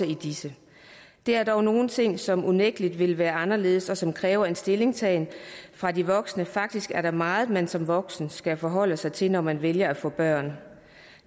i disse der er dog nogle ting som unægtelig vil være anderledes og som kræver en stillingtagen fra de voksnes side faktisk er der meget man som voksen skal forholde sig til når man vælger at få børn